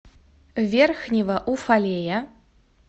верхнего уфалея